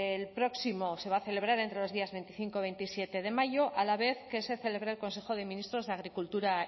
el próximo se va a celebrar entre los días veinticinco y veintisiete de mayo a la vez que se celebre el consejo de ministros de agricultura